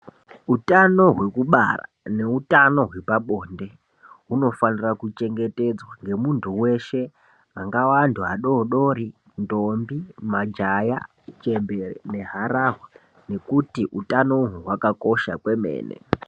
Utano hwekubara neutano hwepabonde hunofanira kuchengetedzwa ngemuntu veshe angava antu adodori, ndombi, majaya, chembere neharahwa. Nekuti utanoho hwakakosha kwemene.